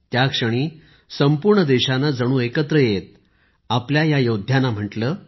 त्याक्षणी संपूर्ण देशाने जणू एकत्र येत आपल्या या योद्ध्यांना म्हटले